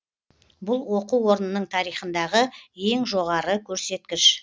бұл оқу орнының тарихындағы ең жоғары көрсеткіш